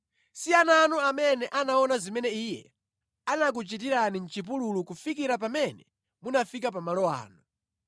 Si ana anu amene anaona zimene Iye anakuchitirani mʼchipululu kufikira pamene munafika pa malo anu,